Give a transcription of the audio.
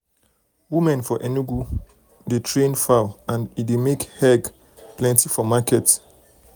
women for enugu women for enugu dey train fowl and e dey make egg um plenty for um market.